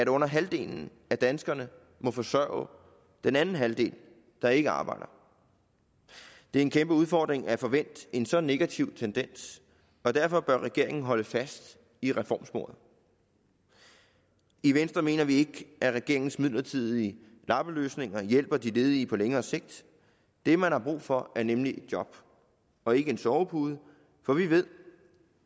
under halvdelen af danskerne må forsørge den anden halvdel der ikke arbejder det er en kæmpe udfordring at få vendt en så negativ tendens og derfor bør regeringen holde fast i reformsporet i venstre mener vi ikke at regeringens midlertidige lappeløsninger hjælper de ledige på længere sigt det man har brug for er nemlig et job og ikke en sovepude for vi ved